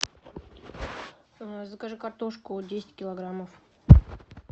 закажи картошку десять килограммов